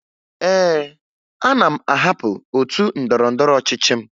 Ee, ana m ahapụ otu ndọrọndọrọ ọchịchị m